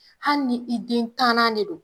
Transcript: Hali ni i den tannan de don.